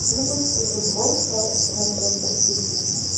запусти футбол челси с манчестер сити